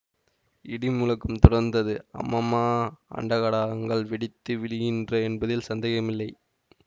இடிமுழக்கம் தொடர்ந்தது அம்மம்மா அண்டகடாகங்கள் வெடித்து விழுகின்ற என்பதில் சந்தேகமில்லை